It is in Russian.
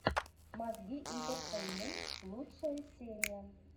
мозги интертеймент лучшая серия